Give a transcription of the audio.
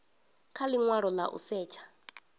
kha linwalo la u setsha